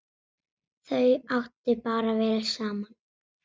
Þau áttu bara vel saman!